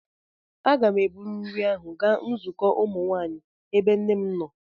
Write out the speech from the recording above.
Aga m eburu nri ahụ gaa nzukọ ụmụ nwanyị, ebe nne m nọ.